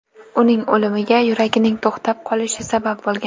Uning o‘limiga yuragining to‘xtab qolishi sabab bo‘lgan.